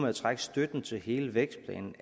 med at trække støtten til hele vækstplanen